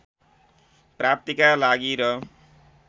प्राप्तिका लागि र